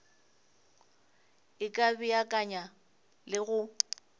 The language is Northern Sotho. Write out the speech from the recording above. e ka beakanya le go